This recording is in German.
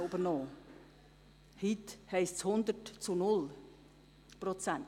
Heute heisst es 100 zu 0 Prozent.